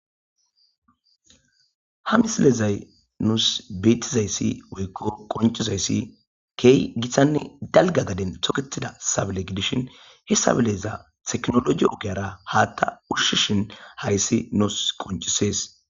Ha missilezaysi nusi betizaysi woyko qonc'isizaysi kehi gitane dalga gaden toketida sabile gidishin he sabilakka tekinoloje ogiyara hata ushishin haysi nusi qonc'ises.